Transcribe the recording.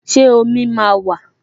Ṣé omi máa wà?